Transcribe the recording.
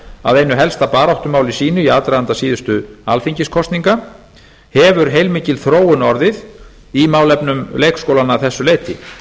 að einu helsta baráttumáli sínu í aðdraganda síðustu alþingiskosninga hefur heilmikil þróun orðið í málefnum leikskólanna að þessu leyti